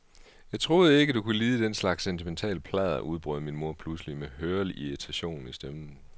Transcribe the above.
Jeg troede ikke, at du kunne lide den slags sentimentalt pladder, udbrød min mor pludselig med hørlig irritation i stemmen.